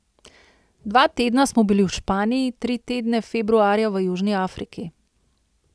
Dva tedna smo bili v Španiji, tri tedne februarja v Južni Afriki.